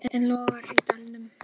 Ættflokkur á steinaldarstigi